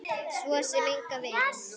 Svo sem engan veginn